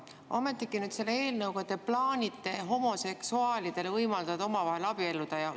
Ometigi te nüüd selle eelnõuga plaanite võimaldada homoseksuaalidel omavahel abielluda.